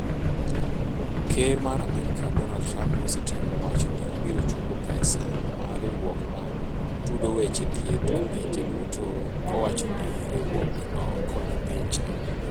Ker mar Amerika, Donald Trump osetemo wacho ni obiro chungo pesa ma riwruok ma tudo weche thieth e pinje duto , kowacho ni riwruogno konyo piny China